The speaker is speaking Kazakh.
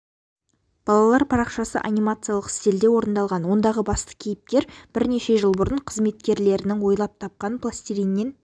балалар парақшасы анимациялық стильде орындалған ондағы басты кейіпкер бірнеше жыл бұрын қызметкерлерінің ойлап тапқан пластилиннен